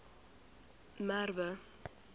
merwe